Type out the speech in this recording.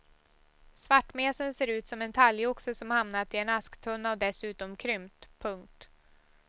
Svartmesen ser ut som en talgoxe som hamnat i en asktunna och dessutom krympt. punkt